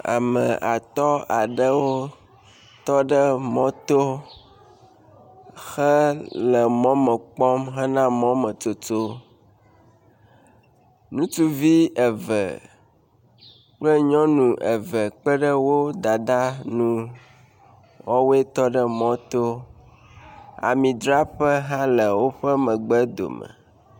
Ame atɔ̃ aɖewo tɔ ɖe mɔto hele mɔ me kpɔm hena mɔ me tsotso. Ŋutsuvi eve kple nyɔnu eve kpe ɖe wo dada ŋu, wowoe tɔ ɖe mɔ to. Amidzraƒe hã le woƒe megbe dome.